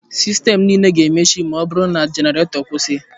Sistemụ niile ga-emechi ma ọ bụrụ na genareto kwụsị.